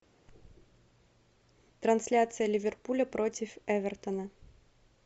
трансляция ливерпуля против эвертона